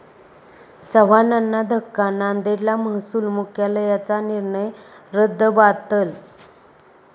चव्हाणांना धक्का, नांदेडला महसूल मुख्यालयाचा निर्णय रद्दबातल